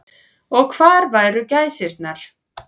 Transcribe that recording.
Og hvar væru gæsirnar.